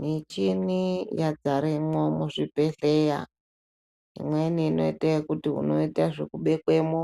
Michini yagaremwo mu zvibhedhleya imweni inoite yekuti inoita zvoku bekwemo